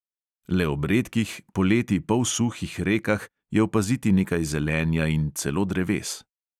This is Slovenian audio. Le ob redkih, poleti polsuhih rekah je opaziti nekaj zelenja in celo dreves.